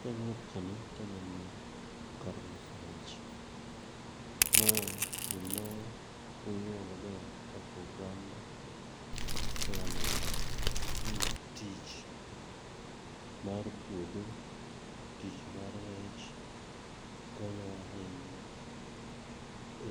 King'iyo picha ni taneno kar loso rech. Ma gima puonjowa maber kaka oganda e alwora ni tich mar puodho, tich mar rech konyowa ahinya